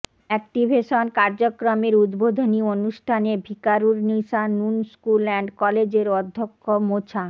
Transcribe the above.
activation কার্যক্রমের উদ্বোধনী অনুষ্ঠানে ভিকারুরনিসা নূন স্কুল অ্যান্ড কলেজের অধ্যক্ষ মোছা